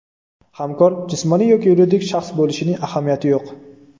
Hamkor jismoniy yoki yuridik shaxs bo‘lishining ahamiyati yo‘q!